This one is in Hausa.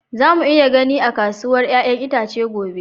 Za mu iya gani a kasuwar 'ya'yan itace gobe